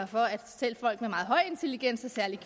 for at selv folk med meget høj intelligens selv særlig